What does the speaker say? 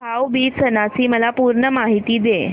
भाऊ बीज सणाची मला पूर्ण माहिती दे